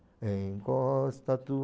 Encosta tu